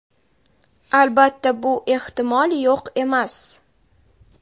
Albatta bu ehtimol yo‘q emas.